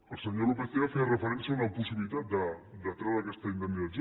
el senyor lópez tena feia referència a una possibilitat de treure aquesta indemnització